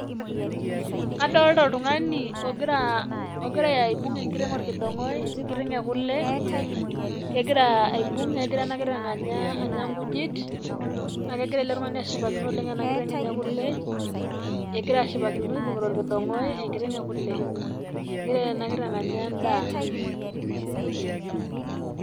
Kadolita oltung'ani ogira, ogira aibung'u enkiteng' olkidong'ai. Nkiteng' o kulee kegira aibung' negiraa ana nkiteng anyaa , anyaa nkujiit. Naa kegiraa ele iltung'ani ashipakino oleng ana nkiteng' enye o kulee. Egira ashipakino abung'ita olkidong'oi enkiteng' o kulee. Egira ana nkiteng anyaa endaa.